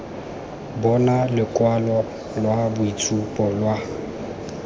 bona lokwalo lwa boitshupo lwa